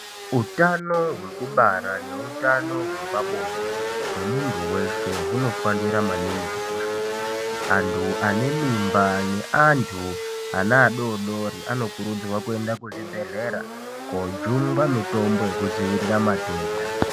Utano hekubara neutano hwepabonde hwemuntu veshe hunofanira maningi kukosheswa. Antu ane mimba neantu anaadodori anokurudzirwa maningi kuenda kuzvibhedhlera kojungwa mitombo yekudziviira matenda.